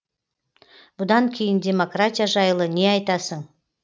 бұдан кейін демократия жайлы не айтасың